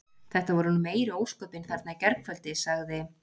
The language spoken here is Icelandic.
Þetta voru nú meiri ósköpin þarna í gærkvöldi- sagði